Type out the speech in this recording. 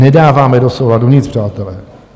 Nedáváme do souladu nic, přátelé.